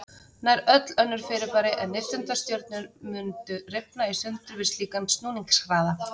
Nær öll önnur fyrirbæri en nifteindastjörnur mundu rifna í sundur við slíkan snúningshraða.